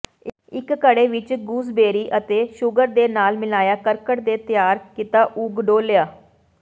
ਇੱਕ ਘੜੇ ਵਿੱਚ ਗੂਸਬੇਰੀ ਅਤੇ ਸ਼ੂਗਰ ਦੇ ਨਾਲ ਮਿਲਾਇਆ ਕਰਕਟ ਦੇ ਤਿਆਰ ਕੀਤਾ ਉਗ ਡੋਲ੍ਹਿਆ